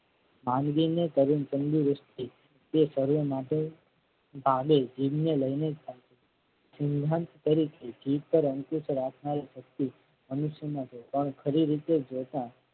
ઠામજી ને કરેલ તંદુરસ્તી તે શરીર માટે પાડે જીભને લઈને જીભ પર અંકુશ રાખનાર શક્તિ મનુષ્યમાં છે પણ ખરી રીતે જોતા.